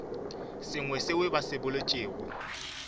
sengwe seo ba se boletšego